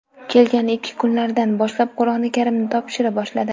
Kelgan ilk kunlaridan boshlab Qur’oni Karimni topshira boshladi.